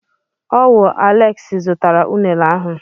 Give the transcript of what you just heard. Ọ wụ Aleksi zụtara unere ahụ.